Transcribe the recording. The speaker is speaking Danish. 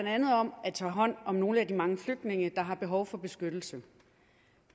andet om at tage hånd om nogle af de mange flygtninge der har behov for beskyttelse